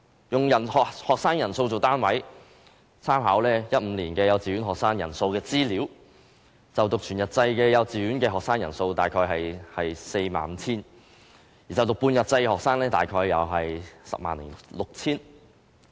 以學生人數為單位，參考2015年幼稚園學生人數的資料，就讀全日制幼稚園的學生人數約 45,000 人；就讀半日制的學生約 106,000 人。